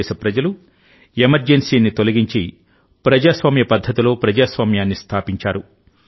భారతదేశ ప్రజలు ఎమర్జెన్సీని తొలగించి ప్రజాస్వామ్య పద్ధతిలో ప్రజాస్వామ్యాన్ని స్థాపించారు